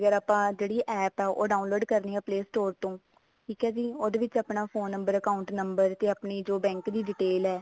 ਵਗੈਰਾ ਆਪਾਂ ਜਿਹੜੀ app ਹੈ ਉਹ download ਕਰਨੀ ਹੈ play store ਤੋਂ ਠੀਕ ਹੈ ਜੀ ਉਹਦੇ ਆਪਣਾ phone number account number ਤੇ ਆਪਣੇ ਜੋ bank ਦੀ detail ਹੈ